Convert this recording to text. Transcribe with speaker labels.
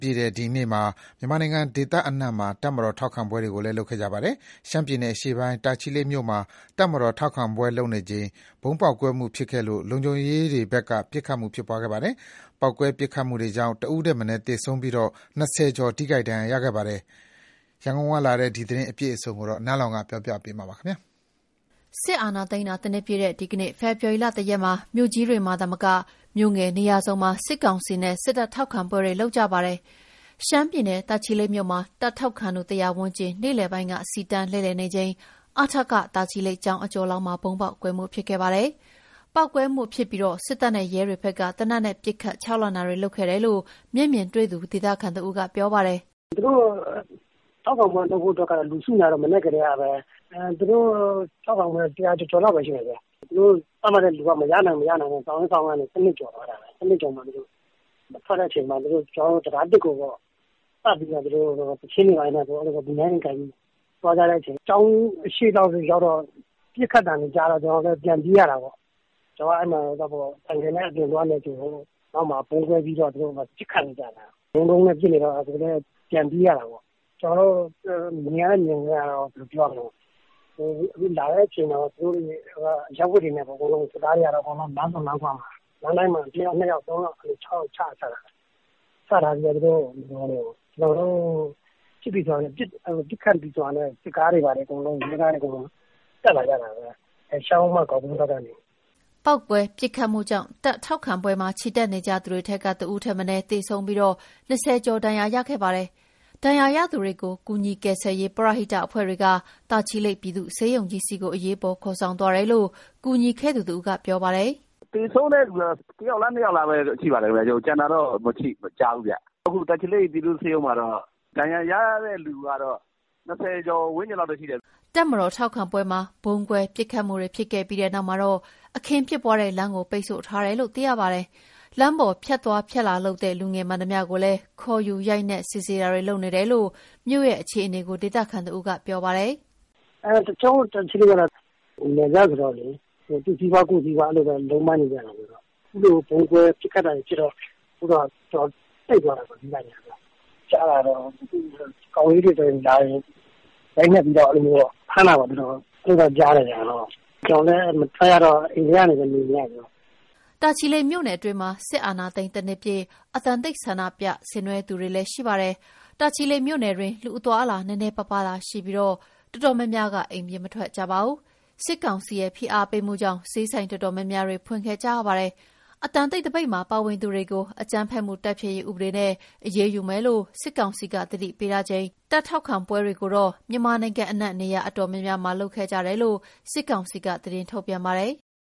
Speaker 1: ပြည့်တဲ့ ဒီနေ့မှာ မြန်မာနိုင်ငံ ဒေသအနှံ့ တပ်မတော်ထောက်ခံပွဲတွေ လုပ်ခဲ့ကြပါတယ်။ ရှမ်းပြည်နယ်အရှေ့ပိုင်း၊ တာချီလိတ် မြို့မှာ တပ်မတော်ထောက်ခံပွဲပြုလုပ်နေချိန် ဗုံးပေါက်ကွဲမှုဖြစ်ခဲ့လို့ လုံခြုံရေးတွေဘက် က ပစ်ခတ်ခဲ့ပါတယ်။ ပေါက်ကွဲပစ်ခတ်မှုတွေကြောင့် ၁ ဦးထက်မနည်း သေဆုံးပြီး ၂၀ ကျော် ထိခိုက်ဒဏ်ရာရခဲ့ပါတယ်။ အပြည့်အစုံ ရန်ကုန်ကလာတဲ့သတင်းကို နန်းလောင်ဝ်က တင်ပြပေးထားပါတယ်။ စစ်အာဏာသိမ်းတာ ၁ နှစ်ပြည့်တဲ့ ဒီကနေ့ ဖေဖော်ဝါရီ ၁ ရက်မှာ မြို့ကြီးတွေမှာသာမက မြို့ငယ်နေရာစုံမှာ စစ်ကောင်စီနဲ့ စစ်တပ်ထောက်ခံပွဲတွေ လုပ်ကြပါတယ်။ ရှမ်းပြည်နယ် တာချီလိတ်မြို့မှာ တပ်ထောက်ခံသူ ၁၀၀ ဝန်းကျင် နေ့လယ်ပိုင်းက စီတန်းလှည့်လည်နေချိန် အထကကျောင်းအကျော်လောက်မှာ ဗုံးပေါက်ကွဲခဲ့ပါတယ်။ ပေါက်ကွဲမှုဖြစ်ပြီး စစ်တပ်နဲ့ ရဲတွေဘက်က သေနတ်နဲ့ ပစ်ခတ် ခြောက်လှန့်တာတွေ လုပ်ခဲ့တယ်လို့ မျက်မြင်တွေ့သူ ဒေသခံတဦးကပြောပါတယ်
Speaker 2: ။ "သူတို့ထောက်ခံပွဲလုပ်ဖို့ လူစုနေတာကတော့ မနက်ကတည်းကပဲ။ သူတို့ထောက်ခံပွဲက လူ ၁၀၀ ကျော်ကျော်လောက်ပဲရှိတယ်ဗျ။ သူတို့သတ်မှတ်ထားတဲ့လူက မရနိုင်တော့ စောင့်ရင်းစောင့်ရင်းကနေ ၁၂ ကျော်သွားတာပဲ။ ၁၂ ကျော်မှာ သူတို့ထွက်တဲ့အချိန်မှာ တံတား ၁ ကို ပတ်ပြီးတော့မှ သီချင်းတွေဆို၊ ဗီနိုင်းတွေကိုင်ပြီးသွားကြတဲ့အချိန်မှာ ကျောင်းအရှေ့လောက်ရောက်တော့ ပစ်ခတ်သံတွေကြားတော့ ကျနော်တို့လည်း ပြန်ပြေးရတာပေါ့။ ကျနော်က အဲဒီမှာ ဆိုင်ကယ်နဲ့ အပြင်သွားနေချိန်ကို နောက်မှာ ဗုံးကွဲပြီးတော့ သူတို့ပစ်ခတ်နေကြတာ။ တဒုန်းဒုန်းနဲ့ပစ်နေတော့ ကျနော်တို့လည်း ပြန်ပြေးရတာပေါ့။ ကျနော်တို့မြင်ရတဲ့မြင်ကွင်းက စစ်သားတွေကတော့ အရပ်ဝတ်တွေနဲ့ လမ်းဆုံလမ်းခွမှာ လမ်းတိုင်းမှာ ၁ ယောက်၊ ၂ ယောက်၊ ၃ ယောက်၊ ၆ ယောက် အဲလိုချထားတာ။ ချထားပြီးတော့ ပစ်ခတ်ပြီဆိုတာနဲ့ စစ်ကားတွေနဲ့ ရဲကားတွေအကုန်လုံး အဲဒီရှမ်းရိုးမ ဂေါက် ကွင်းဘက်ကနေ တက်လာကြတာပဲ။
Speaker 1: " ပေါက်ကွဲ ပစ်ခတ်မှုကြောင့် တပ်ထောက်ခံပွဲမှာ ချီတက်နေကြသူတွေထဲက ၁ ဦးထက်မနည်းသေဆုံးပြီး ၂၀ ကျော် ဒဏ်ရာရခဲ့ပါတယ်။ ဒဏ်ရာရသူတွေကို ကူညီကယ်ဆယ်ရေး ပရဟိတအဖွဲ့တွေက တာချီလိတ်ပြည်သူ့ ဆေးရုံကြီးဆီ အရေးပေါ်ခေါ်ဆောင်သွားတယ်လို့ ကူညီခဲ့သူတဦးကပြောပါတယ်။ "သ
Speaker 2: ေဆုံးတဲ့သူကတော့ ၁ ယောက်လား၊ ၂ယောက်လားပဲ ရှိပါတယ်ဗျ။ ကျန်တာတော့ မကြားဘူးဗျ။ အခု တာချီလိတ်ပြည်သူ့ဆေးရုံမှာတော့ ဒဏ်ရာရတဲ့လူကတော့ ၂၀ ကျော်ဝန်းကျင်လောက်ပဲ ရှိတယ်။
Speaker 1: " တပ်မတော်ထောက်ခံပွဲမှာ ဗုံးကွဲ၊ ပစ်ခတ်မှုတွေဖြစ်ခဲ့ပြီးနောက်မှာတော့ အခင်းဖြစ်ပွားတဲ့လမ်းကို ပိတ်ဆို့ထားတယ်လို့ သိရပါတယ်။ လမ်းပေါ်ဖြတ်သွားဖြတ်လာလုပ်တဲ့ လူငယ်မှန်သမျှကိုလည်း ခေါ်ယူရိုက်နှက်စစ်ဆေးတာတွေ လုပ်နေတယ်လို့ မြို့ရဲ့အခြေအနေကို ဒေသခံတဦးကပြောပါတယ်
Speaker 2: ။ "ကျနော်တို့တာချီလိတ်ကတော့ နယ်စပ်ဆိုတော့လေ သူ့စီးပွား ကိုယ့်စီးပွားလုံးပန်းနေကြတာဆိုတော့ အခုလို ဗုံးကွဲပစ်ခတ်တာတွေဖြစ်တော့ ဈေးဆိုင်တွေကအစ ပိတ်သွားတာပေါ့။ ကြားတာကတော့ ကောင်လေးတွေဆို လာရင် ရိုက်နှက်ပြီးဖမ်းတာတော့ ကြားတယ်ဗျ။ ကျနော်တို့လည်းမထွက်ရတော့ အိမ်ထဲကနေပဲ နေနေရတယ်ဗျ။"
Speaker 1: တာချီလိတ်မြို့နယ်အတွင်းမှာ စစ်အာဏာသိမ်း ၁ နှစ်ပြည့် အသံတိတ်သပိတ်ဆင်နွဲကြသူတွေလည်း ရှိပါတယ်။ တာချီလိတ်မြို့နယ်တွင်း လူအသွားအလာ နည်းနည်းပါးပါးသာရှိပြီး တော်တော်များများက အိမ်ပြင်မထွက်ကြပါဘူး။ စစ်ကောင်စီရဲ့ဖိအားပေးမှုကြောင့် ဈေးဆိုင်တော်တော်များများကတော့ ဖွင့်ခဲ့ကြရပါတယ်။ အသံတိတ်သပိတ်မှာ ပါဝင်သူတွေကို အကြမ်းဖက်မှုတိုက်ဖျက်ရေးဥပဒေနဲ့ အရေးယူမယ်လို့ စစ်ကောင်စီက သတိပေးထားချိန် စီတန်းချီတက်အင်အားပြတဲ့ တပ်ထောက်ခံပွဲတွေကတော့ မြန်မာနိုင်ငံအနှံ့ နေရာအတော်များများမှာ ပြုလုပ်ခဲ့ကြတယ်လို့ စစ်ကောင်စီက သတင်းထုတ်ပြန်ပါတယ်။